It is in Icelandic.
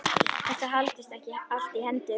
Þetta haldist allt í hendur.